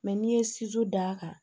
Mɛ n'i ye d'a kan